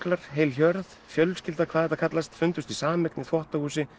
heil hjörð fjölskylda hvað þetta kallast fundust í sameign í þvottahúsi